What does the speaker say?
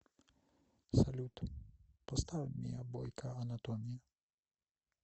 салют поставь миа бойка анатомия